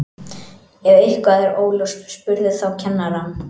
Ef eitthvað er óljóst spurðu þá kennarann.